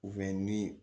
ni